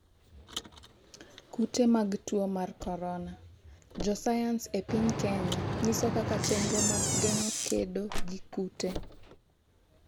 kute mag tuo mar korona:jo sayans e piny Kenya nyiso kaka chenro mag geng'o kedo gi kute